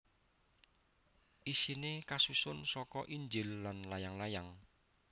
Isiné kasusun saka Injil lan layang layang